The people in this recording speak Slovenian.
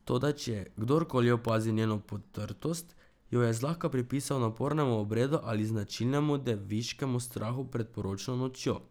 Toda če je kdorkoli opazil njeno potrtost, jo je zlahka pripisal napornemu obredu ali značilnemu deviškemu strahu pred poročno nočjo.